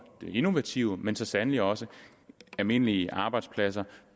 det innovative men så sandelig også almindelige arbejdspladser